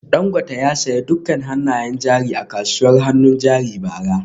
Dangote ya sayi dukkan hannayen jari a kasuwar hannun jari a bara